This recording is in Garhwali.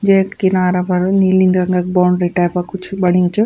जेक किनारा पर नीली रंग क बाउंड्री टाइप क कुछ बण्युं च।